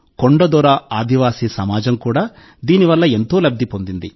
కొండ దొర ఆదివాసీ సమాజం కూడా దీని వల్ల ఎంతో లబ్ధి పొందింది